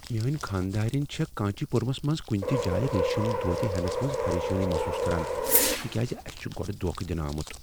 میٲنۍ خانٛدارینہِ چھےٚ کانچی پورمس منٛز کنہ تہ جایہ ریشم دھوٗتہِ ہیننس منز پریشانی محصوص كران تکیاز اسہ چھُ گۄڈٕ دھوکہ دنہٕ آمُت۔